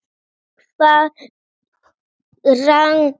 Og aldrei framar gleði.